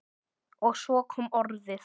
Og svo kom orðið